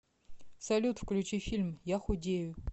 салют включи фильм я худею